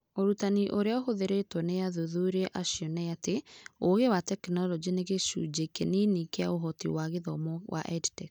Ũrutani ũrĩa ũhũthĩrĩtwo nĩ athuthuria acio nĩ atĩ, ũgĩ wa tekinolonjĩ nĩ gĩcunjĩ kĩnini kĩa ũhoti wa gĩthomo wa EdTech.